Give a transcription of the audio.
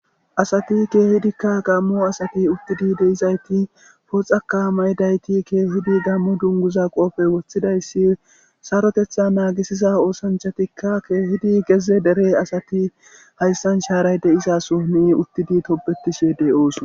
Asati keehidikka gammo asati uttidi deizayti pooxaka mayidayti keehidi gammu dunguza qoofey woththidayssi sarotetha naagisiza oosanchatikka keehidi geze dere asati hayssan shaaray de'izaso ni uttidi tobetishe dey ooson.